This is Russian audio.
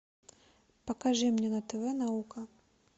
покажи мне на тв наука